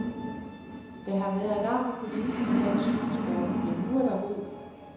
Der har været larm i kulissen i dansk cykelsport, men nu er der ro.